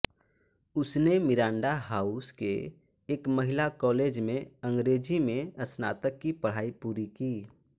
उसने Miranda House के एक महिला कॉलेज में अंग्रेजी में स्नातक की पढ़ाई पूरी की